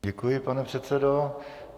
Děkuji, pane předsedo.